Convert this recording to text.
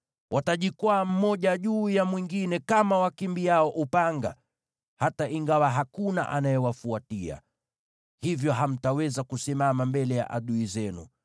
Watajikwaa mmoja juu ya mwingine kama wakimbiao upanga, hata ingawa hakuna anayewafuatia. Hivyo hamtaweza kusimama mbele ya adui zenu.